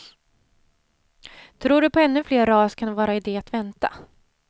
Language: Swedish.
Tror du på ännu fler ras kan det vara idé att vänta.